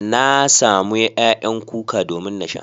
Na samo ƴaƴan kuka domin na sha.